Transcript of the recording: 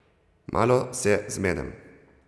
Malo se zmedem.